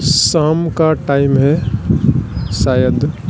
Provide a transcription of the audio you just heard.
शाम का टाइम है शायद।